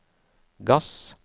gass